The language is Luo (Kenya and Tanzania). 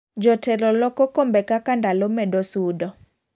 Jotelo loko kombe kaka ndalo medo sudo.